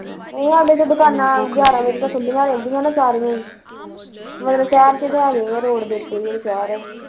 ਉ ਤਾਂ ਦੁਕਾਨਾਂ ਗਿਆਰਾ ਵਜੇ ਤਕ ਖੁੱਲੀਆਂ ਰਹਿੰਦਿਆ ਨੇ ਤਾਂ ਵੀ ਮੇਰੇ ਸਹਿਰ ਚ ਤਾਂ ਹੈਗੇ ਆ ਰੋਡ ਤੇ ਉੱਤੇ ਈ ਜਿਹੜਾ ਸਹਿਰ ਆ